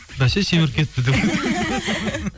бәсе семіріп кетіпті деп